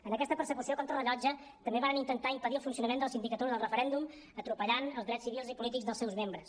en aquesta persecució contrarellotge també varen intentar impedir el funcionament de la sindicatura del referèndum atropellant els drets civils i polítics dels seus membres